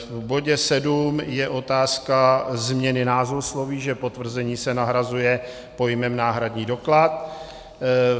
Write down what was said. V bodě sedm je otázka změny názvosloví, že potvrzení se nahrazuje pojmem náhradní doklad.